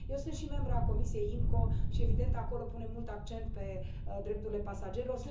Eu sunt și membră a comisiei IMCO și, evident, acolo punem mult accent pe drepturile pasagerilor.